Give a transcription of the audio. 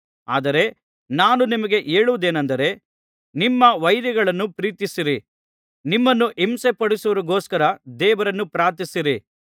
ಆದರೆ ನಾನು ನಿಮಗೆ ಹೇಳುವುದೇನಂದರೆ ನಿಮ್ಮ ವೈರಿಗಳನ್ನು ಪ್ರೀತಿಸಿರಿ ನಿಮ್ಮನ್ನು ಹಿಂಸೆಪಡಿಸುವವರಿಗೊಸ್ಕರ ದೇವರನ್ನು ಪ್ರಾರ್ಥಿಸಿರಿ